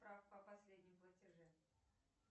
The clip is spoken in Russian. справка о последнем платеже